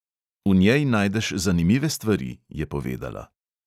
V njej najdeš zanimive stvari, je povedala.